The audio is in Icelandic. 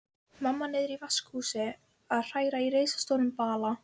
Mamma niðri í vaskahúsi að hræra í risastórum bala.